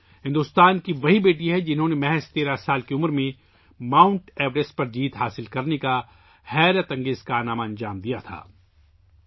پورنا بھارت کی وہی بیٹی ہے جس نے صرف 13 سال کی عمر میں ماؤنٹ ایورسٹ کو سر کرنے کا شاندار کارنامہ انجام دیا تھا